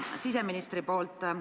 Proua minister!